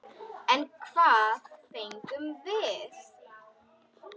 En hvað fengum við?